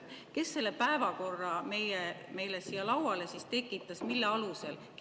Kes selle päevakorra meile siia lauale siis tekitas, mille alusel?